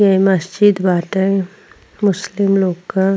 ये मस्जिद बाटे मुस्लिम लोग क।